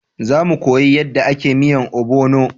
Za mu koya yanda a ke miyan obono